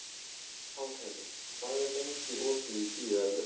Pálheiður, hvað er lengi opið í Tíu ellefu?